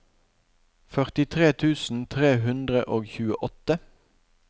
førtitre tusen tre hundre og tjueåtte